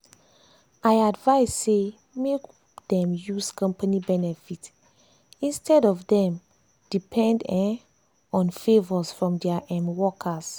i advice say make dem use company benefit instead of dem depend um on favors from dia um workers.